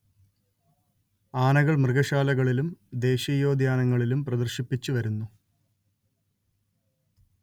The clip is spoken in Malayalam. ആനകൾ മൃഗശാലകളിലും ദേശീയോദ്യാനങ്ങളിലും പ്രദർശിപ്പിച്ചുവരുന്നു